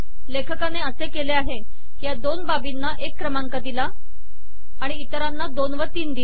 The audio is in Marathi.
लेखकाने असे केले आहे की या दोन बाबींना एक क्रमांक दिला आणि इतरांना दोन व तीन दिला